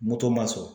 Moto ma sɔn